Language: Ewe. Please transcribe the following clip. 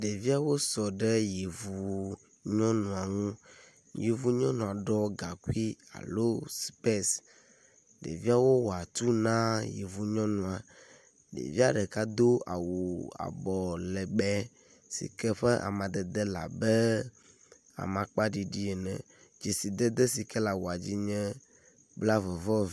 Ɖeviawo sɔ ɖe yevu nyɔnua ŋu yevu nyɔnua ɖɔ gaŋkuia lo supesi. Ɖeviawo wɔatu na yevunyɔnua. Ɖevia ɖeka do awu abɔlegbe si ke ƒe amadede le abe amakpa ɖiɖi ene. Dzesidede si ke le awua dzi nye blavevɔ..